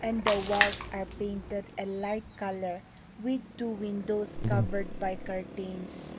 and the walls are painted light colour with two windows covered by curtains.